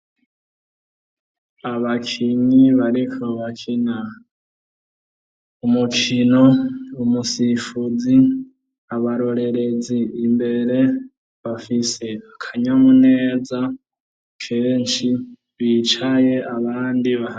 Abakinyi bariko bakina umukino, umusifuzi, abarorerezi imbere bafise akanyamuneza kenshi, bicaye abandi bahagaze.